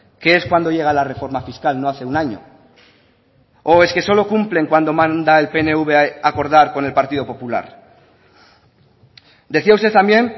que es cuando llega la reforma fiscal no hace un año o es que solo cumplen cuando manda el pnv acordar con el partido popular decía usted también